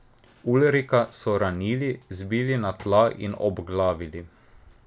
Ulrika so ranili, zbili na tla in obglavili.